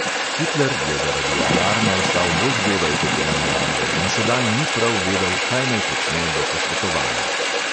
Hitler je zaradi alarma vstal bolj zgodaj, kot je nameraval, in sedaj ni prav vedel, kaj naj počne do posvetovanja.